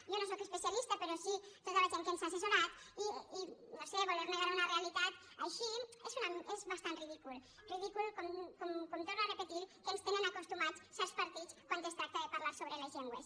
jo no en sóc especialista però sí tota la gent que ens ha assessorat i no ho sé voler negar una realitat així és bastant ridícul ridícul com torno a repetir a què ens tenen acostumats certs par·tits quan es tracta de parlar sobre les llengües